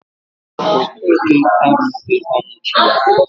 Okeke anwughi ọnwụ chi ya